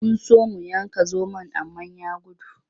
Mun so mu yanka zomon amma ya gudu.